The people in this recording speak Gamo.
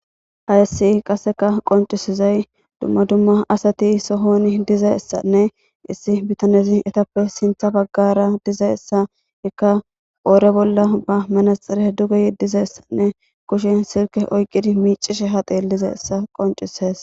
Hayssi qassika qonccissizay dumma dumma asathi sohoonii dizayssanne issi bithanethi ethape sinththa baggaara dizayssa hikka qoore bolla ba manatsire duge yeddizayssanne kushen silkke oyqqizi haa xeelli miiccishe dizayssa qonccissees.